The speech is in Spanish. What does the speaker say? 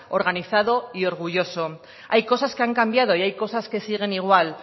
organizado y orgulloso hay cosas que han cambiado y hay cosas que siguen igual